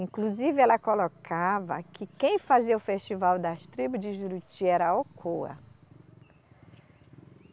Inclusive, ela colocava que quem fazia o festival das tribos de Juruti era a Alcoa.